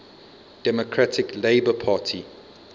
democratic labour party